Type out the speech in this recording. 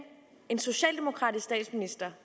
en socialdemokratisk statsminister